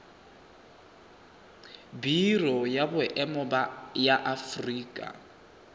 biro ya boemo ya aforika